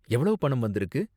எவ்வளவு பணம் வந்திருக்கு?